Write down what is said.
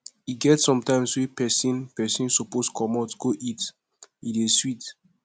e get sometimes wey pesin pesin suppose comot go eat e dey sweet